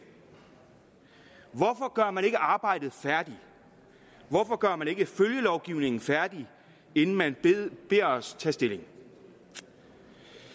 hvorfor gør man ikke arbejdet færdigt hvorfor gør man ikke følgelovgivningen færdig inden man beder os tage stilling